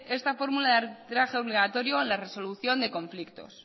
esta fórmula de arbitraje obligatorio en la resolución de conflictos